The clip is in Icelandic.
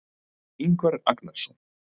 Ingvar Agnarsson.